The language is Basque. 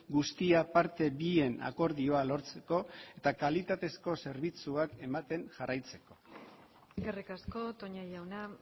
guztia parte bien akordioa lortzeko eta kalitatezko zerbitzuak ematen jarraitzeko eskerrik asko toña jauna